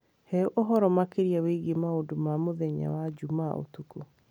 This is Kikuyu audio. He ũhoro makĩria wĩgiĩ maũndũ ma mũthenya wa Jumaa ũtukũ